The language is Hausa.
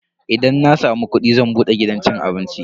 Idan na samu kudi zan bude gidan cin abinci.